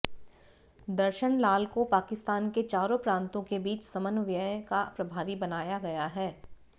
दर्शन लाल को पाकिस्तान के चारों प्रांतों के बीच समन्वय का प्रभारी बनाया गया है